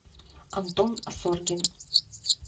антон асоргин